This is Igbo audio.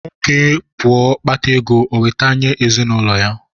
Nwoke pụọ kpátá égo, o weta nye ezinụlọ ya